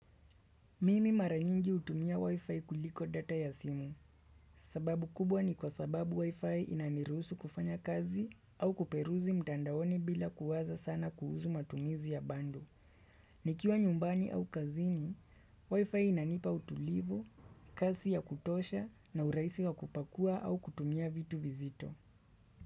Mimi maranyingi utumia wifi kuliko data ya simu. Sababu kubwa ni kwa sababu wifi inaniruhusu kufanya kazi au kuperuzi mtandaoni bila kuwaza sana kuhusu matumizi ya bundle. Nikiwa nyumbani au kazini, wifi inanipa utulivu, kasi ya kutosha na uraisi wa kupakua au kutumia vitu vizito.